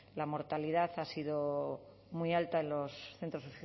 la mortalidad ha sido muy alta en los centros